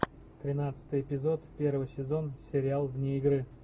тринадцатый эпизод первый сезон сериал вне игры